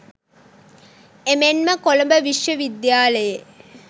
එමෙන්ම කොළඹ විශ්වවිද්‍යාලයේ